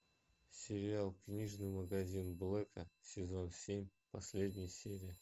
сериал книжный магазин блэка сезон семь последняя серия